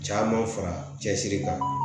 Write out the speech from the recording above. Caman fara cɛsiri kan